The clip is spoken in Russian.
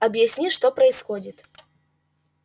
объясни что происходит